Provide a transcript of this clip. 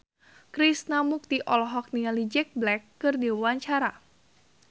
Krishna Mukti olohok ningali Jack Black keur diwawancara